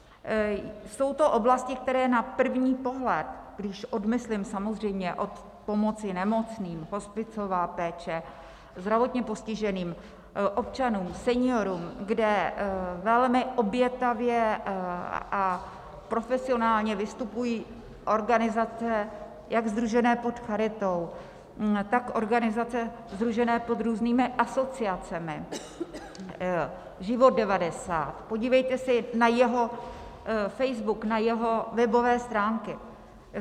Jsou to oblasti, které na první pohled, když odmyslím samozřejmě od pomoci nemocným, hospicová péče, zdravotně postiženým občanům, seniorům, kde velmi obětavě a profesionálně vystupují organizace jak sdružené pod Charitou, tak organizace sdružené pod různými asociacemi, Život 90, podívejte se na jeho Facebook, na jeho webové stránky.